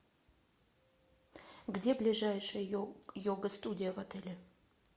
где ближайшая йога студия в отеле